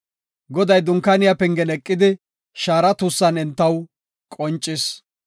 Goday Dunkaaniya pengen eqida shaara tuussan entaw qoncis.